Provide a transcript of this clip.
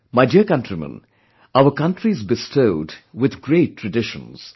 My dear countrymen, our country is bestowed with great traditions